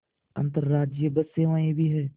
अंतर्राज्यीय बस सेवाएँ भी हैं